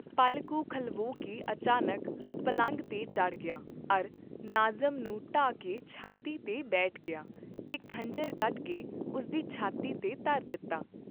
ਪਲ ਕੁ ਖਲਵੋ ਕੇ ਅਚਾਨਕ ਪਲੰਘ ਤੇ ਚੜ੍ਹ ਗਿਆ ਅਰ ਨਾਜ਼ਮ ਨੂੰ ਢਾਹ ਕੇ ਛਾਤੀ ਤੇ ਬੈਠ ਗਿਆ ਤੇ ਖੰਜਰ ਕੱਢਕੇ ਉਸ ਦੀ ਛਾਤੀ ਤੇ ਧਰ ਦਿੱਤਾ।